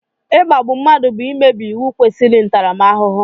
Ikpágbù mmadụ bụ mmebi iwu kwesiri ntaramahuhu